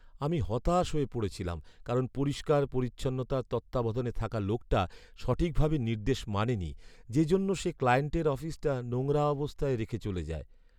আমি হতাশ হয়ে পড়েছিলাম কারণ পরিষ্কার পরিচ্ছন্নতার তত্ত্বাবধানে থাকা লোকটা সঠিকভাবে নির্দেশ মানেনি যে জন্য সে ক্লায়েন্টের অফিসটা নোংরা অবস্থায় রেখে চলে যায়।